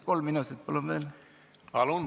Kolm minutit palun veel!